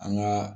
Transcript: An ga